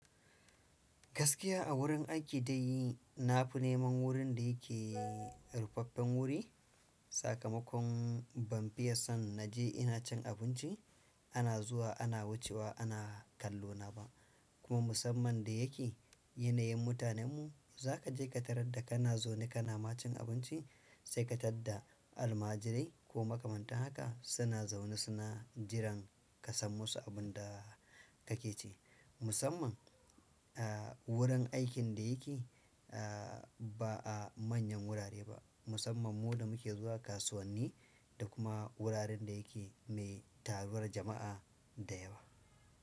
Gaskiya a wurin aiki dai na fi neman wurin da yake rufaffen wuri. Sakamakon ban fiye son na je ina cin abinci, ana zuwa ana wucewa ana kallo na ba. Kuma musamman da yake yanayin mutanenmu za ka je ka tarar da kana zaune kana ma cin abinci sai ka tar da almajirai ko makamanta haka suna zaune suna jiran ka san musu abun da ka ke ce. Musamman, ah, wurin aikin da yake, ah, ba a manyan wurare ba. Musamman mu da muke zuwa kasuwanni da kuma wuraren da yake mai taruwar jama'a da yawa.